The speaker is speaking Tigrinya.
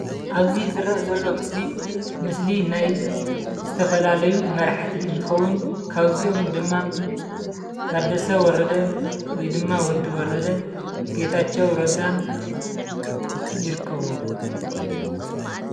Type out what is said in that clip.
ኣብዚ ዝረአ ዘሎ ምሰሊ ምስሊ ናይ ዝተፈላለዩ መራሕቲ እንትኸውን ካብዚኦም ድማ ታደሰ ወረደ ወይ ድማ ወዲ ወረደ ጌታቸው ረዳን ይርከብዎም፡፡